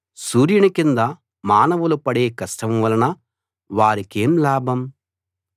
సూర్యుని కింద మానవులు పడే కష్టం వలన వారికేం లాభం